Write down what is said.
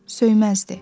söyməzdi.